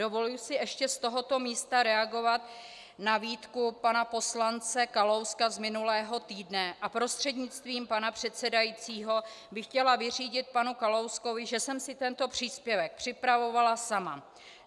Dovoluji si ještě z tohoto místa reagovat na výtku pana poslance Kalouska z minulého týdne a prostřednictvím pana předsedajícího bych chtěla vyřídit panu Kalouskovi, že jsem si tento příspěvek připravovala sama.